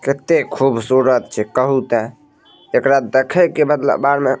कते खूबसूरत छै कहु ते एकरा देखे के बदला बाद में --